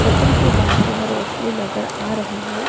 Hotel के बाहर जो है रोशनी नजर आ रही है।